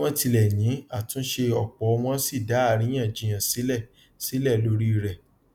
bí wón tilẹ yìn àtúnṣe òpò wón sì dá àríyànjiyàn sílẹ sílẹ lórí rẹ